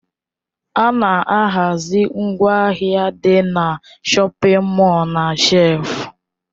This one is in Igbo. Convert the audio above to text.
A na-ahazi ngwaahịa dị na shọpin mọl na shelfu.